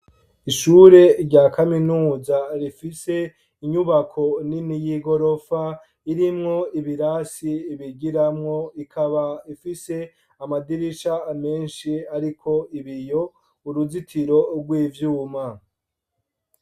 Ishure rya kaminuza, rifise inyubako nini, y'igorofa, irimwo ibirasi bigiramwo, ikaba ifise amadirisha menshi, ariko ibiyo, uruzitiro rw'ivyuma.